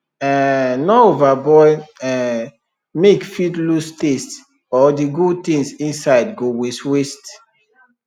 um no overboil um milke fit lose taste or the good things inside go waste waste